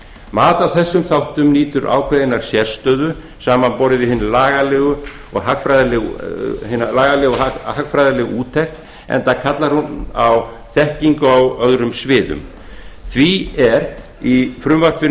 mat á þessum þáttum nýtur ákveðinnar sérstöðu samanborið við hina lagalegu og hagfræðilegu úttekt enda kallar hún á þekkingu á öðrum sviðum því er í frumvarpinu